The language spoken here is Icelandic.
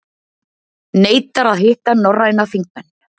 Neitar að hitta norræna þingmenn